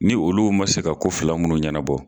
Ni olu man se ka ko fila munnu ɲɛnabɔ